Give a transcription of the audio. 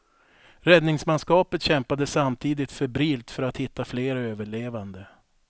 Räddningsmanskapet kämpade samtidigt febrilt för att hitta fler överlevande.